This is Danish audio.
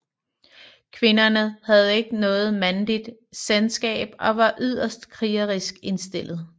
Kvinderne havde ikke noget mandligt selskab og var yderst krigerisk indstillede